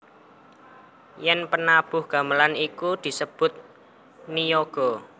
Yen penabuh gamelan iku disebut niyaga